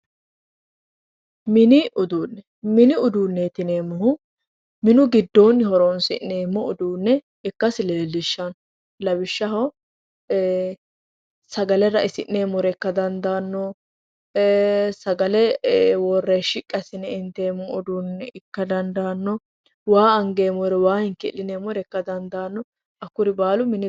Mini uduunne mini uduunne yineemmohu mini giddonni horoonsi'neemmoho ikkasi leellishshanno lawishshaho sagale rainseemmore ikka dandaanno sagale worre shqi assine inteemmoha ikka dandaanno waa hinkii'line waa angeemmoha ikka dandaanno